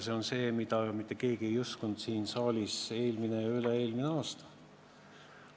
See on see, mida mitte keegi ei uskunud siin saalis eelmine ja üle-eelmine aasta.